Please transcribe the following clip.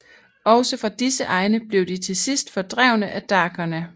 Også fra disse egne blev de til sidst fordrevne af dakerne